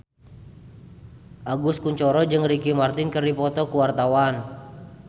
Agus Kuncoro jeung Ricky Martin keur dipoto ku wartawan